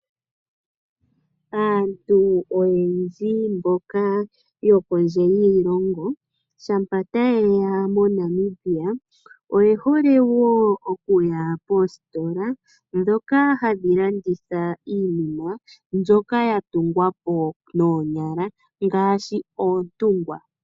Aantu oyendji mboka yokondje yiilongo shampa tayeya moNamibia oyehole wo okuya puusitena ndhoka hadhi landitha iinima mbyoka yatungwa po noonyala ngaashi oontungwa.